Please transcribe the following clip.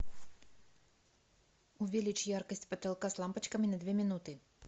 увеличь яркость потолка с лампочками на две минуты